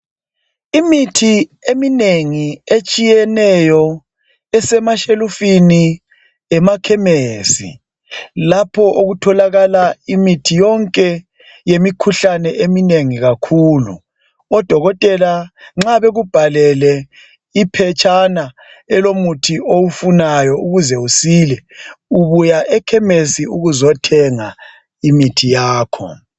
imithi eminengi etshiyeneyo esemashelufini emakhemesi lapho okutholakala imithi yonke yemikhuhlane eminengi kakhulu odokotela nxa bekubhalele iphetshena elomuthi owufunayo ukuze usile ubuya ekhemesi ukuzothenga imithi yakho